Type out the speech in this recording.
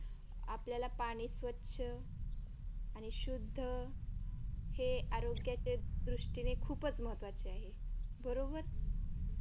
आपल्याला पाणी स्वच्छ आणि शुद्ध हे आरोग्याच्या दृष्टीने खूपच महत्त्वाचे आहे बरोबर.